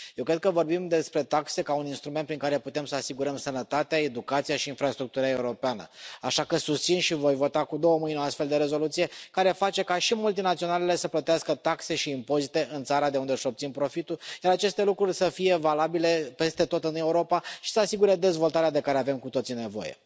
Eu cred că vorbim despre taxe ca un instrument prin care putem să asigurăm sănătatea, educația și infrastructura europeană, așa că susțin și voi vota cu două mâini o astfel de rezoluție care face ca și multinaționalele să plătească taxe și impozite în țara de unde își obțin profitul, iar aceste lucruri să fie valabile peste tot în Europa și să asigure dezvoltarea de care avem cu toții nevoie.